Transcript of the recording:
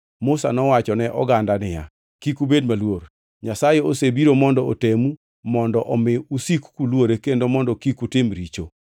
Musa nowacho ne oganda niya, “Kik ubed maluor. Nyasaye osebiro mondo otemu mondo omi usik kuluore kendo mondo kik utim richo.”